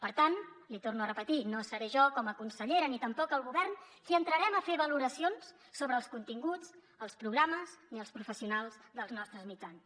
per tant l’hi torno a repetir no seré jo com a consellera ni tampoc el govern qui entrarem a fer valoracions sobre els continguts els programes ni els professionals dels nostres mitjans